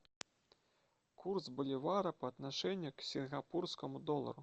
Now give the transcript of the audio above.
курс боливара по отношению к сингапурскому доллару